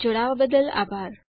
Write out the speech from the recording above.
જોડવા બદલ આભાર